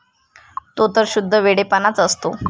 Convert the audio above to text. तो तर शुद्ध वेडेपणाच असतो.